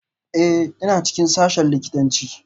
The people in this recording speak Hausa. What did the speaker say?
Ee, ina cikin sashen likitanci